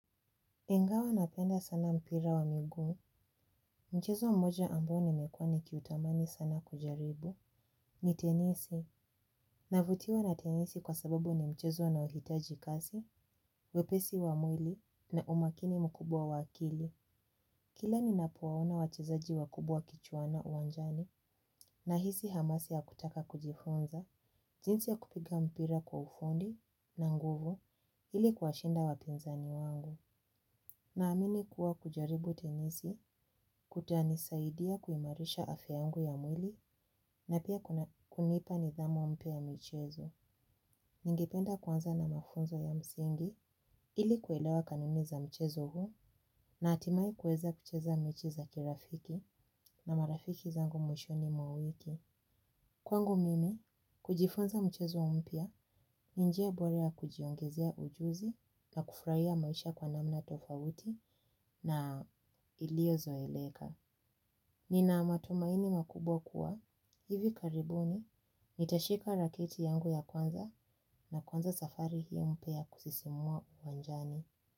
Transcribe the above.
Ingawa napenda sana mpira wa miguu, mchezo mmoja ambaoni mekua ni kiutamani sana kujaribu, ni tenisi. Navutiwa na tenisi kwa sababu ni mchezo una ohitaji kasi, wepesi wa mwili na umakini mkubwa waakili. Kila ni napowaona wachezaji wa kubwa kichuana uwanjani na hisi hamasi ya kutaka kujifunza, jinsi ya kupiga mpira kwa ufundi na nguvu ili kuwa shinda wapinzani wangu. Na amini kuwa kujaribu tenisi, kutani saidia kuimarisha afyayangu ya mwili na pia kunipa nidhamu mpyaya michezo. Ningependa kuanza na mafunzo ya msingi ili kuelewa kanuni za mchezo huu na hatimaye kuweza kucheza mechiza kirafiki na marafiki zangu mwishoni mwawiki. Kwangu mimi, kujifunza mchezo mpya, ninjia boraya kujiongezea ujuzi na kufurahia maisha kwa namna tofauti na iliozo eleka. Nina matumaini makubwa kuwa, hivi karibuni, nitashika raketi yangu ya kwanza na kuanza safari hii mpyaya kusisimua uwanjani.